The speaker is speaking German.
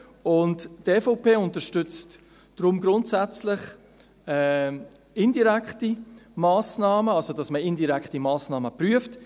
Die EVP unterstützt deshalb grundsätzlich indirekte Massnahmen, das heisst, dass man indirekte Massnahmen prüft.